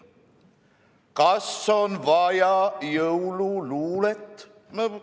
Kas on vaja jõululuulet?